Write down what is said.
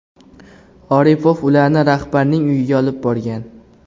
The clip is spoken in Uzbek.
Oripov ularni rahbarning uyiga olib borgan.